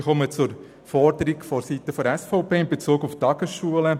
Ich komme zu der Forderung vonseiten der SVP in Bezug auf die Tagesschulen.